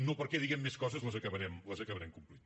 no perquè diguem més coses les acabarem complint